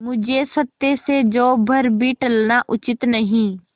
मुझे सत्य से जौ भर भी टलना उचित नहीं